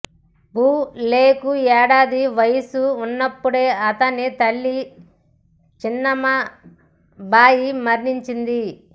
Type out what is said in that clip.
ఫూలేకు ఏడాది వయస్సు న్నప్పుడే అతని తల్లి చిమ్నాబాయి మరణించింది